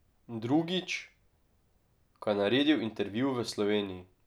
Drugič, ko je naredil intervju v Sloveniji.